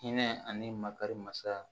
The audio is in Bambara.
Hinɛ ani makari masa